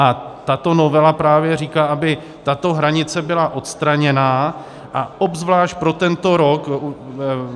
A tato novela právě říká, aby tato hranice byla odstraněná, a obzvlášť pro tento rok.